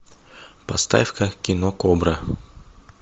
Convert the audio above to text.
поставь ка кино кобра